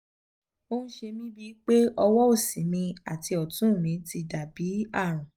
ó ń ṣe mí bíi pé ọwọ́ òsì mi àti ọ̀tún mi ti dà bí ààrùn